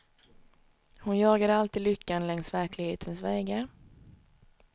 Hon jagade alltid lyckan längs verklighetens vägar.